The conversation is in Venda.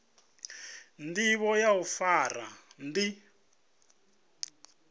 ndivho ya u fara ndi